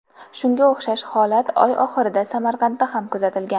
Shunga o‘xshash holat oy oxirida Samarqandda ham kuzatilgan .